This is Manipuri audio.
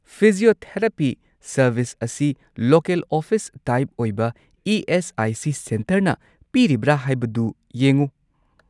ꯐꯤꯖꯤꯌꯣꯊꯦꯔꯥꯄꯤ ꯁꯔꯕꯤꯁ ꯑꯁꯤ ꯂꯣꯀꯦꯜ ꯑꯣꯐꯤꯁ ꯇꯥꯏꯞ ꯑꯣꯏꯕ ꯏ.ꯑꯦꯁ.ꯑꯥꯏ.ꯁꯤ. ꯁꯦꯟꯇꯔꯅ ꯄꯤꯔꯤꯕ꯭ꯔꯥ ꯍꯥꯏꯕꯗꯨ ꯌꯦꯡꯎ꯫